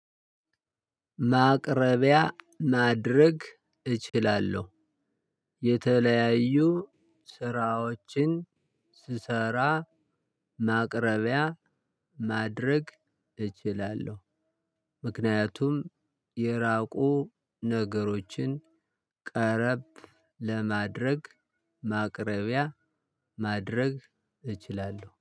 ማቅረቢያ ማድረግ እችላለሁ የተለያዩ ስራዎችን ስሰራ ማቅረቢያ ማድረግ እችላለሁ ምክንያቱም የራቁ ነገሮችን ቀረብ ለማድረግ ማቅረቢያ ማድረግ እችላለሁ።